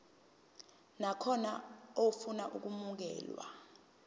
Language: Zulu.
nakhona ofuna ukwamukelwa